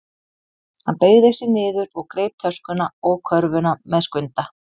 Hann beygði sig niður og greip töskuna og körfuna með Skunda.